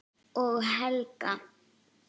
Og Helga!